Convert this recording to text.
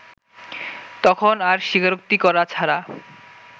তখন আর স্বীকারোক্তি করা ছাড়া